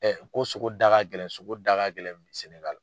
ko sogo da ka gɛlɛn sogo daga gɛlɛn SƐNƐGALI.